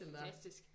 Fantastisk